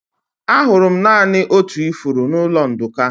Ahụrụ m naanị otu ifuru n'ụlọ Nduka.